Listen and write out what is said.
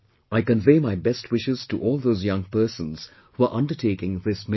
I convey my best wishes to all those young persons who are undertaking this mission